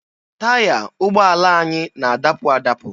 Taya ụgbọala anyị na-adapụ adabụ.